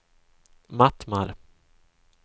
Mattmar